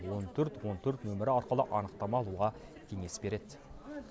он төрт он төрт нөмірі арқылы анықтама алуға кеңес береді